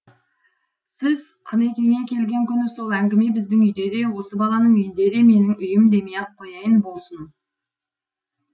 сіз қынекеңе келген күні сол әңгіме біздің үйде де осы баланың үйінде де менің үйім демей ақ қояйын болсын